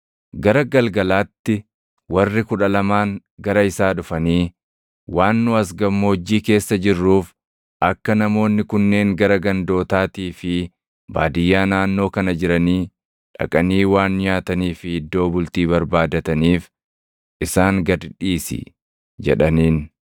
Gara galgalaatti warri Kudha Lamaan gara isaa dhufanii, “Waan nu as gammoojjii keessa jirruuf, akka namoonni kunneen gara gandootaatii fi baadiyyaa naannoo kana jiranii dhaqanii waan nyaatanii fi iddoo bultii barbaadataniif isaan gad dhiisi” jedhaniin.